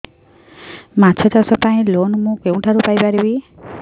ମାଛ ଚାଷ ପାଇଁ ଲୋନ୍ ମୁଁ କେଉଁଠାରୁ ପାଇପାରିବି